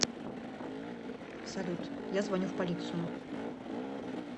салют я звоню в полицию